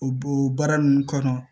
O bo o baara ninnu kɔnɔ